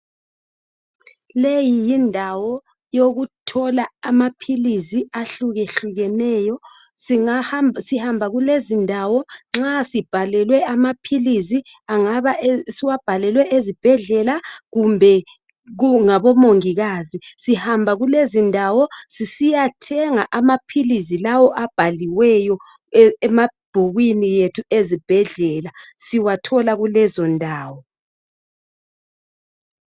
Leyi yindawo yokuthola amaphilisi ahlukehlukeneyo. Sihamba kulezindawo nxa sibhalelwe amaphilisi. Angabe siwabhalelwe ezibhedlela, kumbe ngabomongikazi. Sihamba kulezindawo sisiyathenga amaphilisi esiwabhalelwe emabhukwini ethu, ezibhedlela. Sihamba kulezondawo